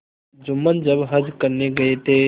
जुम्मन जब हज करने गये थे